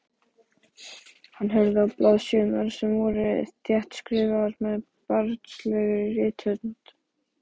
Hann horfði á blaðsíðurnar sem voru þéttskrifaðar með barnslegri rithönd.